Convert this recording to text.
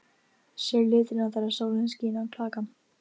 Sérðu litina þegar sólin skín á klakann?